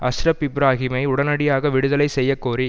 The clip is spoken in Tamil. அஸ்ரப் இப்ராஹீமை உடனடியாக விடுதலை செய்யக்கோரி